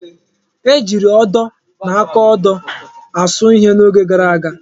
Ejiiri odo na akaodo asụ ihe n'oge gara aga.